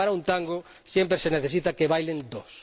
Y para un tango siempre se necesita que bailen dos.